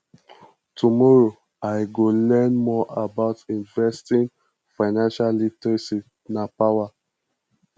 tomorrow i go learn more about investing financial literacy na power